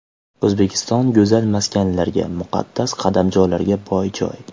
O‘zbekiston go‘zal maskanlarga, muqaddas qadamjolarga boy joy.